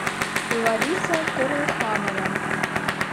лариса корлханова